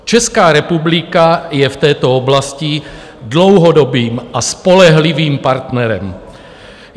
Česká republika je v této oblasti dlouhodobým a spolehlivým partnerem.